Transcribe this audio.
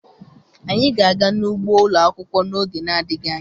Anyị ga-aga n'ugbo ụlọ akwụkwọ n'oge adịghị anya.